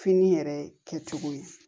Fini yɛrɛ kɛcogo ye